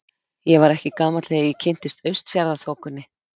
Ég var ekki gamall þegar ég kynntist Austfjarðaþokunni.